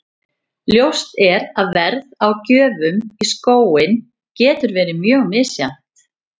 Ljóst er að verð á gjöfum í skóinn getur verið mjög misjafnt.